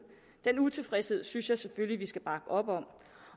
den utilfredshed synes jeg selvfølgelig vi skal bakke op om